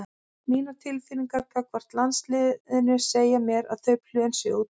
Mínar tilfinningar gagnvart landsliðinu segja mér að þau plön séu úti.